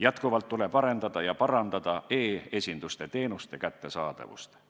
Jätkuvalt tuleb arendada ja parandada e-esinduste teenuste kättesaadavust.